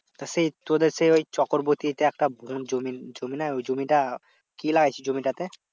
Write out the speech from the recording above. তা সেই তোদের সেই ওই চক্রবর্তীতে একটা জমি জমি না। ওই জমিটা, কি লাগিয়েছিস জমিটা তে?